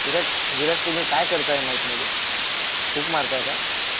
विराज तुम्ही काय करताय माईक मध्ये फुक मारताय का?